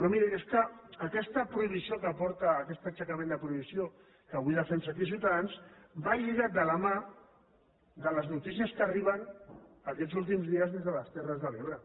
però miri és que aquest aixecament de prohibició que avui defensa aquí ciutadans va lligat de la mà de les notícies que arriben aquests últims dies des de les terres de l’ebre